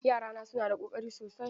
Yarana suna da Ƙoƙari sosai.